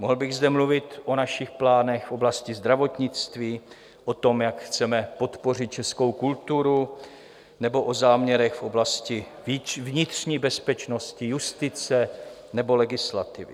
Mohl bych zde mluvit o našich plánech v oblasti zdravotnictví, o tom, jak chceme podpořit českou kulturu, nebo o záměrech v oblasti vnitřní bezpečnosti, justice nebo legislativy.